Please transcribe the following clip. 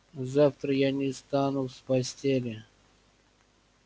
завтра я не встану с постели